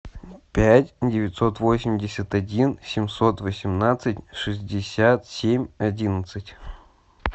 пять девятьсот восемьдесят один семьсот восемнадцать шестьдесят семь одиннадцать